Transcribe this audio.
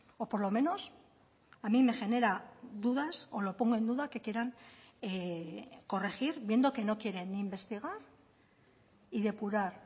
o por lo menos a mí me genera dudas o lo pongo en duda que quieran corregir viendo que no quieren ni investigar y depurar